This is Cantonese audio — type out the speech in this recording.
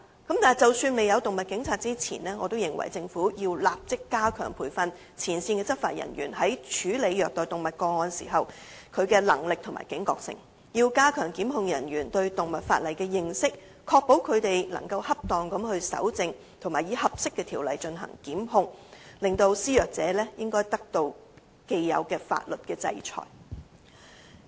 然而，即使現時未有"動物警察"，我亦認為政府應立即加強培訓前線執法人員在處理虐待動物個案時的能力和警覺性，並加強檢控人員對動物法例的認識，確保他們能夠恰當地搜證和以合適的條例來進行檢控，令施虐者得到應有的法律制裁。